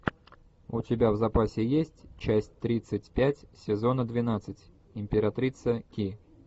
у тебя в запасе есть часть тридцать пять сезона двенадцать императрица ки